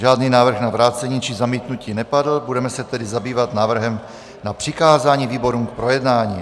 Žádný návrh na vrácení či zamítnutí nepadl, budeme se tedy zabývat návrhem na přikázání výborům k projednání.